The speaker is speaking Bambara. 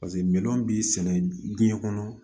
Paseke miliyɔn b'i sɛnɛ diɲɛ kɔnɔ